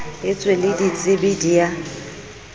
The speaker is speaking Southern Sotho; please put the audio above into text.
etswe le ditsebi di a